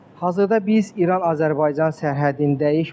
Hazırda biz İran Azərbaycan sərhəddindəyik.